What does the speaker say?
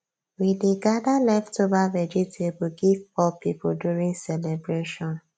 we dey gather leftover vegetable give poor people during celebration